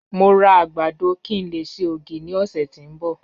Mo ra agbado ki n le ṣe ogi ni ọsẹ ti n bọ